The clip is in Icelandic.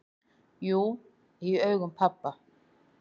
"""Jú, í augum pabba"""